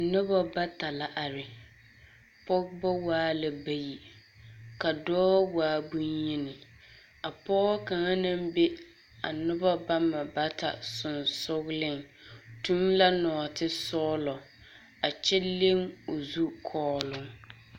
Nobɔ bata la are, pɔgebɔ waa bayi, ka dɔɔ waa boŋyeni. A pɔge kaŋa naŋ be a noba bama bata sonsogleŋ tuŋ la nɔɔtesɔɔlɔ, a kyɛ leŋ o zukɔɔloŋ.